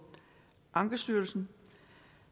ankestyrelsen